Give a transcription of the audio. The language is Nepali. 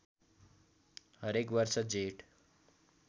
हरेक वर्ष जेठ